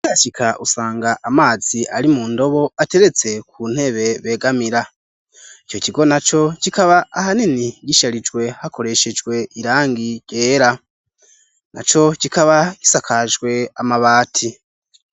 Ukihashika usanga amazi ari mu ndobo ateretse ku ntebe begamira. Ico kigo na co kikaba ahanini gisharijwe hakoreshejwe irangi ryera. Na co kikaba gisakajwe amabati.